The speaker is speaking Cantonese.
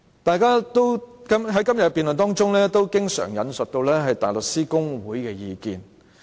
大家在今天的辯論中也經常引述香港大律師公會的意見。